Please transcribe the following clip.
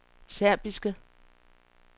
serbiske